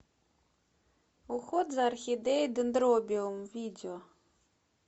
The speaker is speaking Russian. уход за орхидеей дендробиум видео